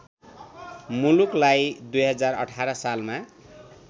मुलुकलाई २०१८ सालमा